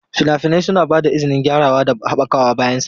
Fina-finai suna ba da izinin gyarawa da haɓakawa bayan samarwa.